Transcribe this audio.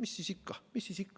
mis siis ikka.